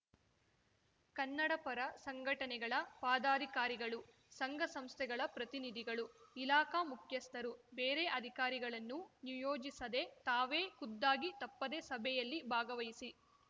ಕನ್ನಡಪರ ಸಂಘಟನೆಗಳ ಪಾದಾರಿಕಾರಿಗಳು ಸಂಘ ಸಂಸ್ಥೆಗಳ ಪ್ರತಿನಿಧಿಗಳು ಇಲಾಖಾ ಮುಖ್ಯಸ್ಥರು ಬೇರೆ ಅಧಿಕಾರಿಗಳನ್ನು ನಿಯೋಜಿಸದೇ ತಾವೇ ಖುದ್ದಾಗಿ ತಪ್ಪದೇ ಸಭೆಯಲ್ಲಿ ಭಾಗವಹಿಸಿ